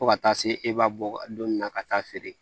Fo ka taa se e b'a bɔ don min na ka taa feere